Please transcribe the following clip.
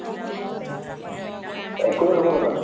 এক crore নহব নেকি?